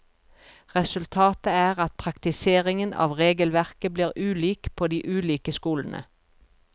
Resultatet er at praktiseringen av regelverket blir ulik på de ulike skolene.